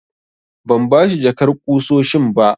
Ban bashi jakar ƙusoshin ba.